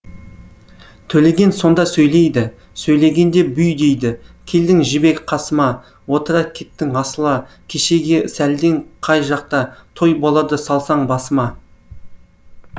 төлеген сонда сөйлейді сөйлегенде бүй дейді келдің жібек қасыма отыра кеттің асыла кешегі сәлдең қай жақтатой болады салсаң басыма